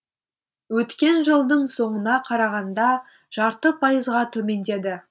өткен жылдың соңына қарағанда жарты пайызға төмендеді